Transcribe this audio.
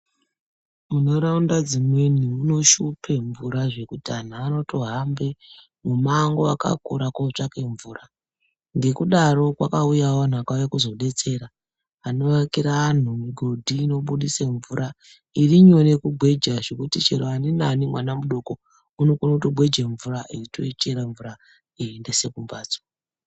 Munharaunda dzimweni munoshupe mvura zvekuti antu anotohambe mumango akakura kootsvake mvura ngekudaro, kwakauyawo antu akauye kuzodetsera anoakira antu migodhi inobudise mvura, irinyore kugweja zvekuti aninani mwana mudoko unokone kutogweja mvura eitoichera mvura eiendese kumhatso.